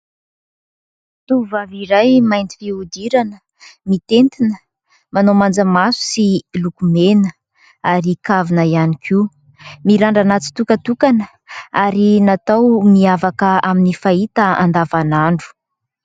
Tovavy iray mainty fihodirana mitentina, manao manjamaso, sy lokomena ary kavina ihany koa. Mirandrana tsitokatokana ary natao mihavaka amin'ny fahita andavan'andro.